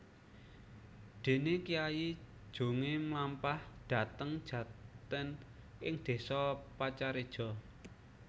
Dene Kyai Jongé mlampah dhateng jaten ing désa Pacareja